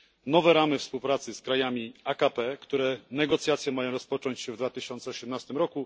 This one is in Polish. Nowe ramy współpracy z krajami AKP, których negocjacje mają rozpocząć się w 2018 r.,